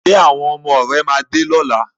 Ṣé àwọn ọmọ rẹ máa dé lọ́la?